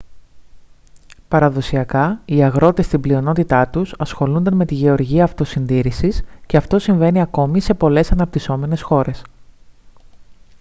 παραδοσιακά οι αγρότες στην πλειονότητά τους ασχολούνταν με τη γεωργία αυτοσυντήρησης και αυτό συμβαίνει ακόμη σε πολλές αναπτυσσόμενες χώρες